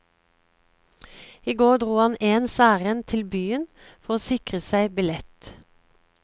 I går dro han ens ærend til byen for å sikre seg billett.